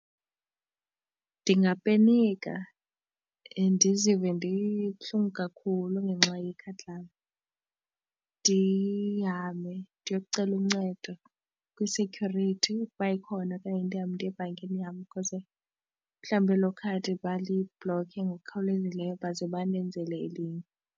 Ndingapenika ndizive ndibuhlungu kakhulu ngenxa yekhadi lam. Ndihambe ndiyokucela uncedo kwi-security ukuba ikhona okanye ndihambe ndiye ebhankini yam because mhlawumbi elo khadi balibhlokhe ngokukhawulezileyo baze bandenzele elinye.